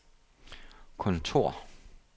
kontor